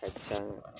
A ka can